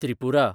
Tripura